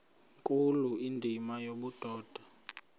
nkulu indima yobudoda